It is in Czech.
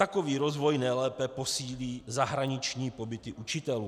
Takový rozvoj nejlépe posílí zahraniční pobyty učitelů.